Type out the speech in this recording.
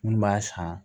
Minnu b'a san